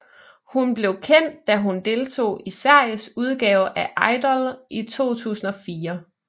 Hun blev kendt da hun deltog i Sveriges udgave af Idol i 2004